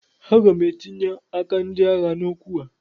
Aga m etinye aka ndị agha n'okwu a